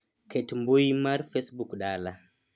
ket mbui mar facebook dala